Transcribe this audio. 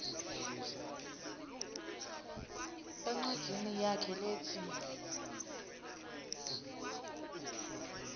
encwadzini yakhe letsi